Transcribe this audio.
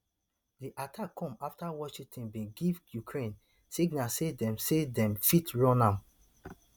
di attack come afta washington bin give ukraine signal say dem say dem fit run am